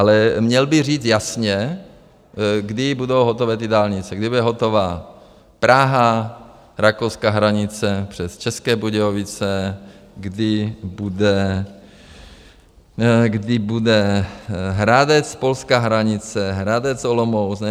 Ale měl by říct jasně, kdy budou hotové ty dálnice, kdy bude hotová Praha, rakouská hranice přes České Budějovice, kdy bude Hradec, polská hranice, Hradec, Olomouc.